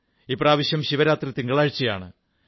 ഇപ്രാവശ്യം ശിവരാത്രി തിങ്കളാഴ്ചയാണ്